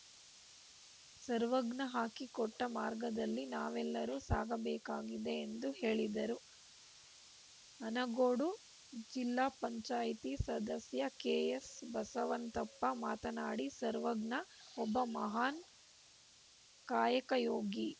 ಸರ್ವಜ್ಞ ಹಾಕಿಕೊಟ್ಟಮಾರ್ಗದಲ್ಲಿ ನಾವೆಲ್ಲರೂ ಸಾಗಬೇಕಾಗಿದೆ ಎಂದು ಹೇಳಿದರು ಆನಗೋಡು ಜಿಲ್ಲಾ ಪಂಚಾಯತ್ ಸದಸ್ಯ ಕೆಎಸ್‌ಬಸವಂತಪ್ಪ ಮಾತನಾಡಿ ಸರ್ವಜ್ಞ ಒಬ್ಬ ಮಹಾನ್‌ ಕಾಯಕಯೋಗಿ